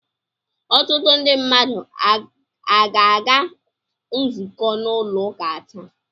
Ọtụtụ ndị mmadu aga-aga nzukọ n'ụlọ uka taa?